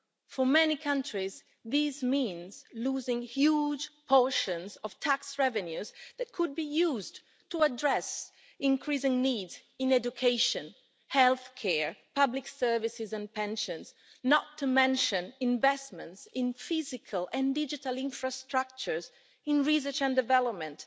For many countries, this means losing huge portions of tax revenues that could be used to address increasing needs in education, health care, public services and pensions, not to mention investments in physical and digital infrastructures, in research and development